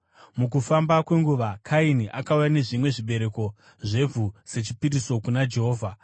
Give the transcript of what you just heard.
Mukufamba kwenguva, Kaini akauya nezvimwe zvezvibereko zvevhu sechipiriso kuna Jehovha.